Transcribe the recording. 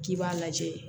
K'i b'a lajɛ